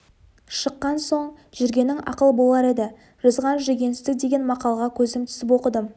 шыққан соң жүргенің ақыл болар еді жазған жүгенсіздік деген мақалаға көзім түсіп оқыдым